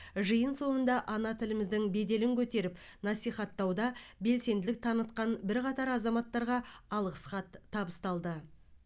жиын соңында ана тіліміздің беделін көтеріп насихаттауда белсенділік танытқан бірқатар азаматтарға алғыс хат табысталды